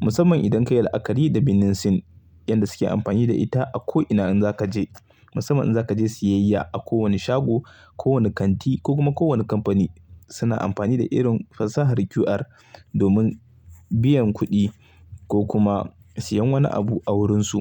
musamman idan ka yi la'akari da birnin Sin yanda suke amfani da ita a ko ina in za ka je. Musamman in za ka je siyayya a ko wani shago, ko wani kanti ko kuma ko wane kamfani suna amfani da irin fasahar QR domin biyan kuɗi ko kuma siyan wani abu a wurinsu.